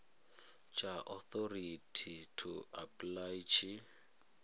tsha authority to apply tshi